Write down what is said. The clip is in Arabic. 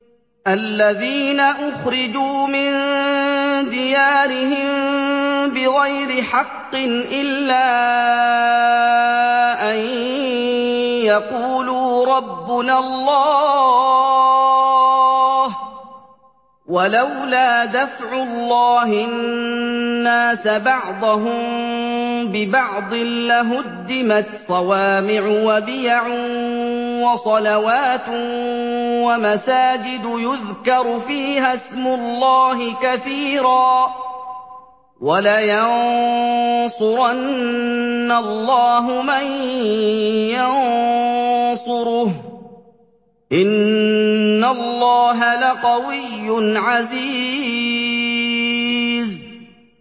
الَّذِينَ أُخْرِجُوا مِن دِيَارِهِم بِغَيْرِ حَقٍّ إِلَّا أَن يَقُولُوا رَبُّنَا اللَّهُ ۗ وَلَوْلَا دَفْعُ اللَّهِ النَّاسَ بَعْضَهُم بِبَعْضٍ لَّهُدِّمَتْ صَوَامِعُ وَبِيَعٌ وَصَلَوَاتٌ وَمَسَاجِدُ يُذْكَرُ فِيهَا اسْمُ اللَّهِ كَثِيرًا ۗ وَلَيَنصُرَنَّ اللَّهُ مَن يَنصُرُهُ ۗ إِنَّ اللَّهَ لَقَوِيٌّ عَزِيزٌ